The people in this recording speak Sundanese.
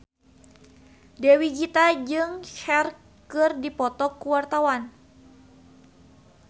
Dewi Gita jeung Cher keur dipoto ku wartawan